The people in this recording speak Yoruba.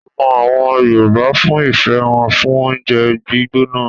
A mọ àwọn Yorùbá fún ìfẹ́ wọn fún oúnjẹ gbígbóná.